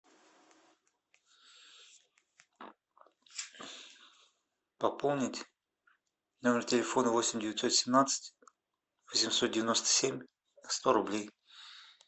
пополнить номер телефона восемь девятьсот семнадцать восемьсот девяносто семь сто рублей